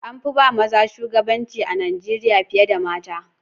An fi ba maza shugabanci a Najeriya fiye da mata.